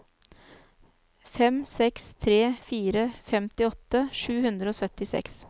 fem seks tre fire femtiåtte sju hundre og syttiseks